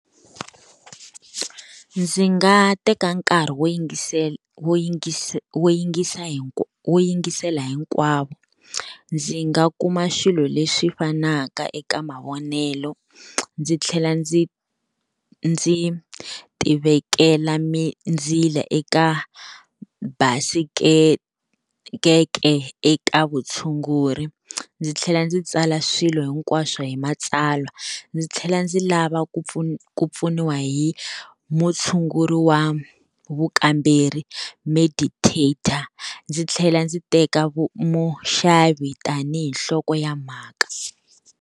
Ndzi nga teka nkarhi wo yingisela wo yingisa wo yingisa wo yingisela hinkwavo. Ndzi nga kuma xilo lexi fanaka eka mavonelo. Ndzi tlhela ndzi ndzi tivekela mindzila eka basikete eka vutshunguri, ndzi tlhela ndzi tsala swilo hinkwaswo hi matsalwa. Ndzi tlhela ndzi lava ku ku pfuniwa hi mutshunguri wa vukamberi meditator, ndzi tlhela ndzi teka muxavi tanihi nhloko ya mhaka.